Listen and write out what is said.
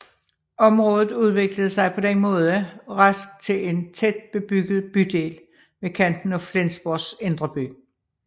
Området udviklede sig på den måde rask til en tæt bebygget bydel ved kanten af Flensborgs indre by